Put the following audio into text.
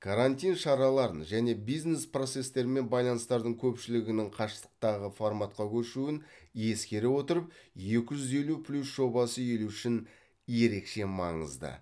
карантин шараларын және бизнес процестер мен байланыстардың көпшілігінің қашықтағы форматқа көшуін ескере отырып екі жүз елу плюс жобасы ел үшін ерекше маңызды